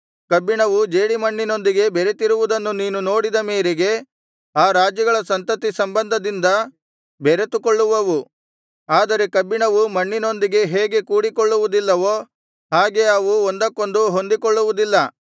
ಕಬ್ಬಿಣವು ಜೇಡಿಮಣ್ಣಿನೊಂದಿಗೆ ಬೆರೆತಿರುವುದನ್ನು ನೀನು ನೋಡಿದ ಮೇರೆಗೆ ಆ ರಾಜ್ಯಾಗಳ ಸಂತತಿ ಸಂಬಂಧದಿಂದ ಬೆರೆತುಕೊಳ್ಳುವವು ಆದರೆ ಕಬ್ಬಿಣವು ಮಣ್ಣಿನೊಂದಿಗೆ ಹೇಗೆ ಕೂಡಿಕೊಳ್ಳುವುದಿಲ್ಲವೋ ಹಾಗೆ ಅವು ಒಂದಕ್ಕೊಂದು ಹೊಂದಿಕೊಳ್ಳುವುದಿಲ್ಲ